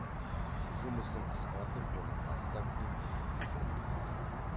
жұмысын қысқартып оны тастап интернетке ұмтылып тұру